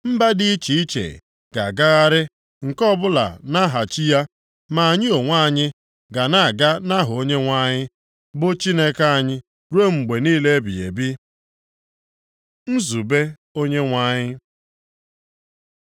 Mba dị iche iche ga-agagharị nke ọbụla nʼaha chi ya, ma anyị onwe anyị ga na-aga nʼaha Onyenwe anyị, bụ Chineke anyị ruo mgbe niile ebighị ebi. Nzube Onyenwe anyị